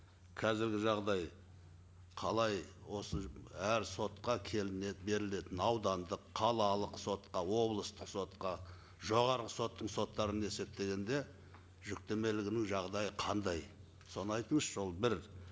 қазіргі жағдай қалай осы әр сотқа берілетін аудандық қалалық сотқа облыстық сотқа жоғарғы соттың соттарын есептегенде жүктемелігінің жағдайы қандай соны айтыңызшы ол бір